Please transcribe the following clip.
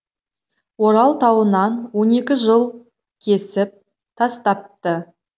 орал тауынан он екі жыл кесіп тастапты